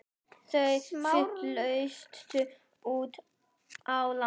Þau fluttu út á land.